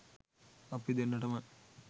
අපි දෙන්නටම